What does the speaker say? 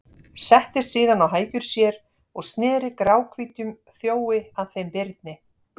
Settist síðan á hækjur sér og sneri gráhvítum þjói að þeim Birni.